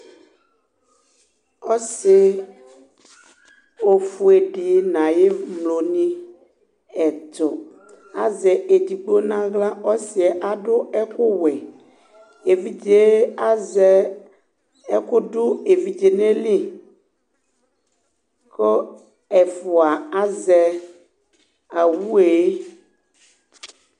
Ɔsɩ ofʊe dɩ ŋʊ aƴemlo ŋɩ ɛtʊ, azɛ edɩgbo nawla Kʊ ɔsɩɛ adʊ ɛkʊ wɛ, eʋɩɗze azɛ ɛkʊ dʊ eʋɩɖze ŋaƴɩlɩ ƙʊ ɛfʊa azɛ awʊe